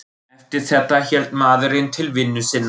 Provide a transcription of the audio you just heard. Eftir þetta hélt maðurinn til vinnu sinnar.